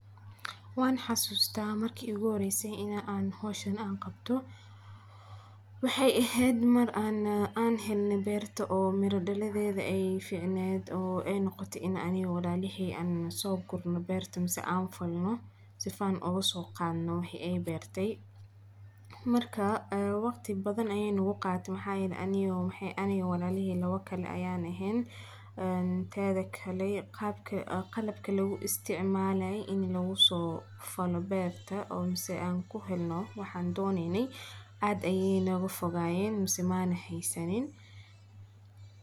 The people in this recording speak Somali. Waan xasuustaa markii u guuhoreysay in aan hoosh aan qabto. Waxay ahayd mar aan aan helno beerta oo mira dhaladeeda ay fiicneyn oo ay noqoto in aniga walaaliheyn an soogu no beertan si aan falno sifaan ugu soo qaano haysay beertay. Markaa waqti badan aynu u qaat maxaa inani u maxay ani walaalihe. Lawakali ayaan ahayn taada kale qaabka qalabka lagu isticmaalay in lagu soo falo beerta oo mas an ku helno. Waxaan doonay adayna u fogaayeen masu maana haysan.